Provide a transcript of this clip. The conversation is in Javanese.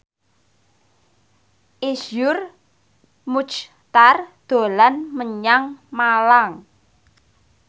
Iszur Muchtar dolan menyang Malang